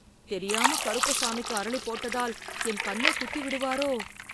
தெரியாம கருப்பசாமிக்கு அரளி போட்டதால், என் கண்ணைக் குத்திவிடுவாரோ..